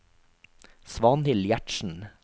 Svanhild Gjertsen